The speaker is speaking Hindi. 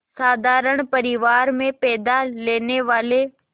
साधारण परिवार में पैदा लेने वाले